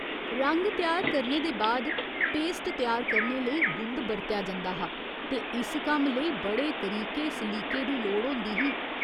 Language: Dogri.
रंग त्यार करने दे बाद पेस्ट त्यार करने लेई गुंद बरतेआ जंदा हा ते इस कम्म लेई बड़े तरीके सलीके दी लोड़ होंदी ही।